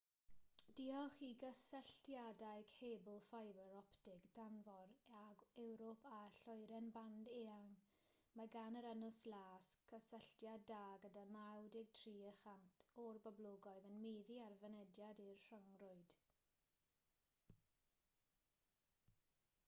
diolch i gysylltiadau cebl ffibr optig tanfor ag ewrop a lloeren band eang mae gan yr ynys las gysylltiad da gyda 93% o'r boblogaeth yn meddu ar fynediad i'r rhyngrwyd